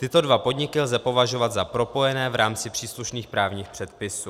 Tyto dva podniky lze považovat za propojené v rámci příslušných právních předpisů.